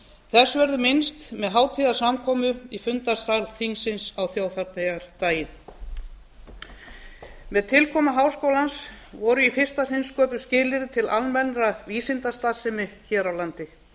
þess verður minnst með hátíðarsamkomu í fundarsal þingsins á þjóðhátíðardaginn með tilkomu háskólans voru í fyrsta sinn sköpuð skilyrði til almennrar vísindastarfsemi hér á landi